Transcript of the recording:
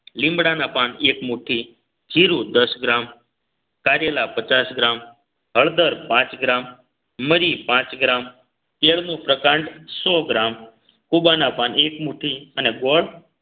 લીમડાના પાન એક મુઠ્ઠી જીરું દસ ગ્રામ કારેલા પચાસ ગ્રામ હળદર પાંચ ગ્રામ મરી પાંચ ગ્રામ કેળ નું પ્રકાંડ સો ગ્રામ કુબાના પાન એક મુઠ્ઠી અને ગોળ